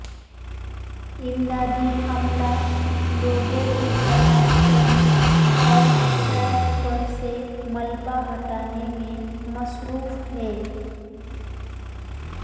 امدادی عملہ لوگوں کی تلاش کرنے اور ٹریک پر سے ملبہ ہٹانے میں مصروف ہے